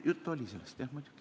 Juttu sellest oli, jah muidugi.